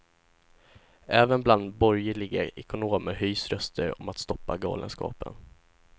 Även bland borgerliga ekonomer höjs röster om att stoppa galenskapen.